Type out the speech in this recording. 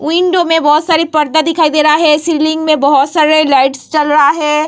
Window में बहुत सारी पर्दा दिखाई दे रहा है सीलिंग में बहुत सारे लाइट जल रहा है।